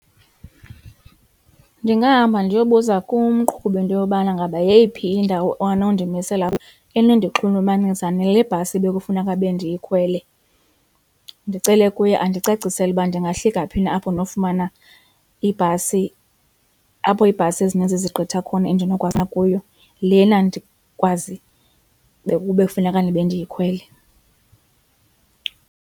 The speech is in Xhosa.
Ndingahamba ndiyobuza kumqhubi into yobana ngaba yeyiphi indawo anondimisela kuyo enondixhulumanisa nale bhasi ebekufuneka bendiyikhwele, ndicele kuye andicacisele uba ndingahlika phi na apho ndinofumana ibhasi apho iibhasi ezininzi zigqitha khona endinokwazi na kuyo lena ndikwazi kube kufuneka ndibe ndiyikhwele.